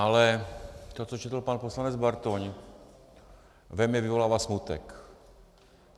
Ale to, co četl pan poslanec Bartoň, ve mně vyvolává smutek.